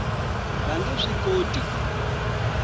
va nge swi koti ku